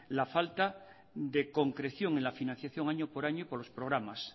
la falta de concreción en la financiación año por año por los programas